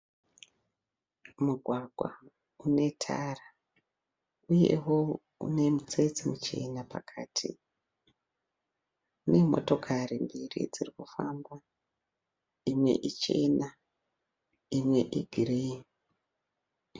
Mugwagwa une tara uyewo une mitsetse michena pakati. Une motokari mbiri dziri kufamba imwe ichena imwe igireyi.